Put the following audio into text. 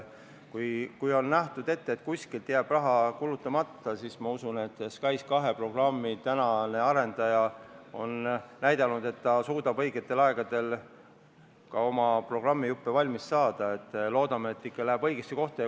Kui kuskile on mingi raha ette nähtud, siis ma usun, et kuna SKAIS2 programmi arendaja on näidanud, et ta suudab õigeks ajaks oma programmijupid valmis saada, et see läheb ikka õigesse kohta.